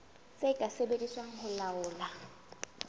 tse ka sebediswang ho laola